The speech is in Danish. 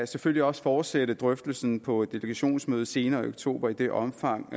selvfølgelig også fortsætte drøftelsen på delegationsmødet senere i oktober i det omfang